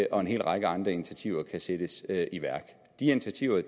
og en hel række andre initiativer kan sættes i værk de initiativer